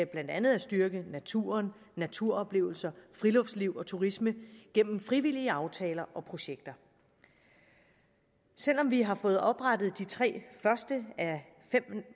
blandt andet at styrke naturen naturoplevelser friluftsliv og turisme gennem frivillige aftaler og projekter selv om vi har fået oprettet de tre første af fem